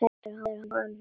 Hrærið og hnoðið.